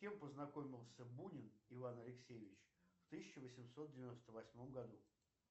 с кем познакомился бунин иван алексеевич в тысяча восемьсот девяносто восьмом году